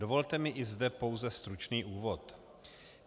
Dovolte mi i zde pouze stručný úvod.